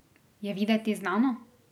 Je videti znano?